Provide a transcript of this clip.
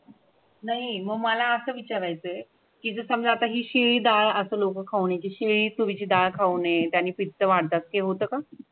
नाही मला असं विचारायचंय की समजा आता शिळे डाळ लोक खाण्याची शिळे तुरीची डाळ खाऊ नये त्याने पित्त वाढतत ते होतं का?